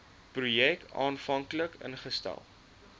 projek aanvanklik ingestel